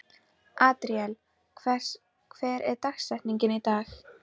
Adríel, hver er dagsetningin í dag?